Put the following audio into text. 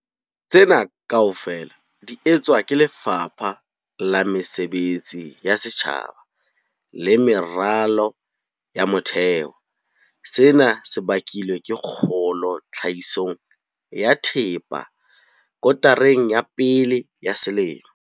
Tsena kaofela di etswa ke Lefapha la Mesebetsi ya Setjhaba le Meralo ya Motheo. Sena se bakilwe ke kgolo tlhahisong ya thepa kotareng ya pele ya selemo.